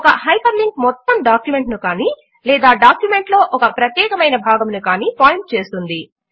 ఒక hyperlink మొత్తము document ను కానీ లేదా డాక్యుమెంట్ లో ఒక ప్రత్యేకమైన భాగమును కానీ పాయింట్ చేస్తుంది